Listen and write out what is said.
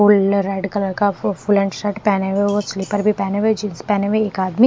फूल red colour का फूल हैन्ड शर्ट पहने हुए हैं और स्लिपर भी पहने हुए जीन्स पहने हुए हैं एक आदमी--